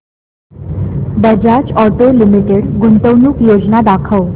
Bajaj auto limited गुंतवणूक योजना दाखव